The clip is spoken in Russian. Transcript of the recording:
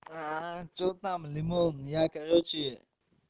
а что там лимон я короче